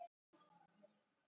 Já ég hef gert það.